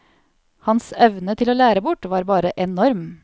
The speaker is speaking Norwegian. Hans evne til å lære bort var bare enorm.